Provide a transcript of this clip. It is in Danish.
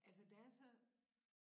Altså der er så